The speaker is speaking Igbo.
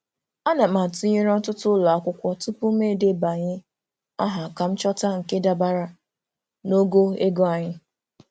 Ana m atụnyere ọtụtụ ụlọ akwụkwọ tupu m edebanye aha ka m chọta nke dabara n'ogo ego anyị.